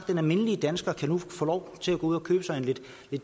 den almindelige dansker nu kan få lov til at gå ud og købe sig en lidt